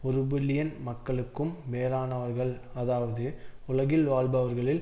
ஒரு பில்லியன் மக்களுக்கும் மேலானவர்கள் அதாவது உலகில் வாழ்பவர்களில்